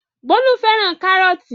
Bólú fẹ́ràn kárọ́tì.